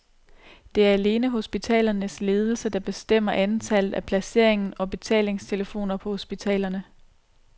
Det er alene hospitalernes ledelse, der bestemmer antallet og placeringen af betalingstelefoner på hospitalerne.